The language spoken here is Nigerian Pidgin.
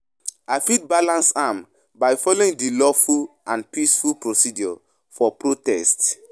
I fit balance am by following di lawful and peaceful procedures for protest.